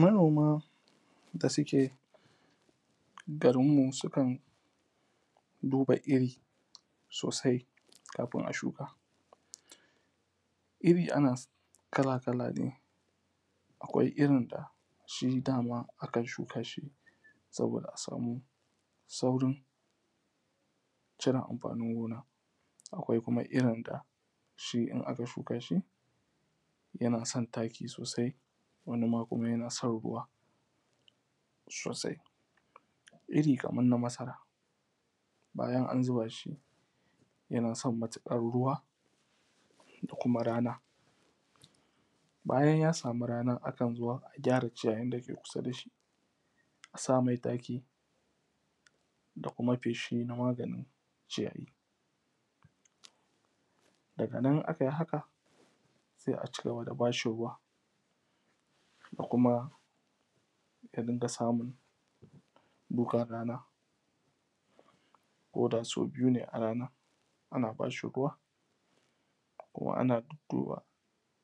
Manoma da suke garinmu su kan duba iri sosai kafin a shuka. Iri na iri kala kala ne. Akwai irin dashi dama akan shuka shi saboda da a samu saurin cire amfanin gona. Akwai kuma irin dashi in aka shuka shi yana son taki sosai, wani kuma yana son ruwa sosai. Iri kaman na masara bayan an zuba shi yana son matuƙar ruwa da kuma rana, bayan ya samu ranan akan zo a gyara ciyayin dake kusa dashi a sa mai taki da kuma feshi na maganin ciyayi, daga nan in akai haka sai aci gaba da bashi ruwa a kuma ya dinga samun dukan rana ko da sau biyu ne a rana, ana bashi ruwa ana duduba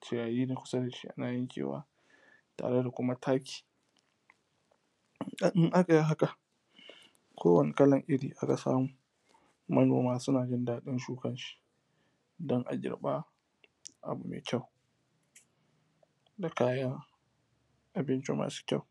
ciyayi na kusa dashi ana yankewa tare da kuma taki in akai haka kowani irin taki aka samu manoma suna jin daɗin shukanshi don a girba abu mai kyau da kayan abinci masu kyau.